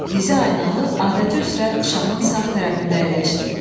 Dizi Aynalı adəti üzrə şahın sağ tərəfində əyləşdi.